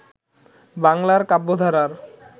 বাংলার কাব্যধারার